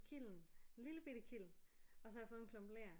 Kiln lillebitte kiln og så har jeg fået en klump ler